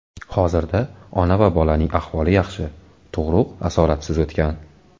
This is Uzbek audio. Hozirda ona va bolaning ahvoli yaxshi, tug‘ruq asoratsiz o‘tgan.